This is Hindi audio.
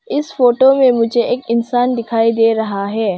इस फोटो में मुझे एक इंसान दिखाई दे रहा है।